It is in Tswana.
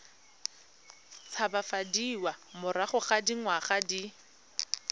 tshabafadiwa morago ga dingwaga di